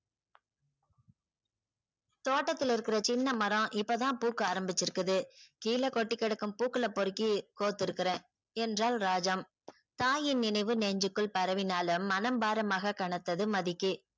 தோட்டத்துல இருக்கற சின்ன மரம் இப்பதான் பூக்க ஆரம்பிச்சிருக்கிது கீழே கொட்டிக் கிடக்கும் பூக்களை பொருக்கி கொதிருக்கிறேன் என்றால் ராஜம். தாயின் நினைவு நெஞ்சுக்குள் பரவினாலும் மனம் பாரமாக கனத்தது மதிக்கு